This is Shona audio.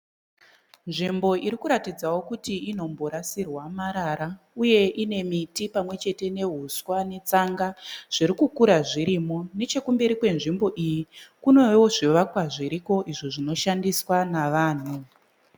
Nvimbo iri kuratidzawo kuti inomborasirwa marara uye ine miti pamwe chete neuswa netsanga zviri kukura zvirimo. Nechekumberi kwenzvimbo iyi kunewo zvivakwa zviriko izvo zvinoshandiswa navanhu.